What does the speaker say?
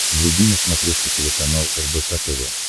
вруби на смотрешке телеканал рбк тв